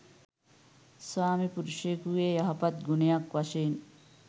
ස්වාමිපුරුෂයෙකුගේ යහපත් ගුණයක් වශයෙන්